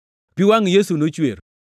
Pi wangʼ Yesu nochwer.